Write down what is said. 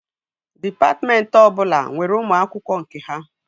Dịpatmentị ọbụla nwere ụmụ akwụkwọ nke ha